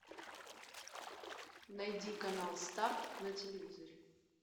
найди канал старт на телевизоре